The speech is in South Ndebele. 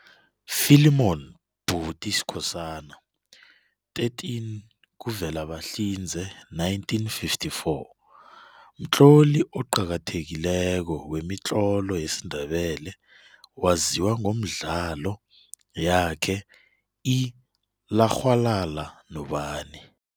Philemon Buti Skhosana, 13 kuVelabahlinze 1954, mtloli oqakathekileko wemitlolo yesindebele waziwa ngomdlalo yakhe i"Larhwalala Nobani".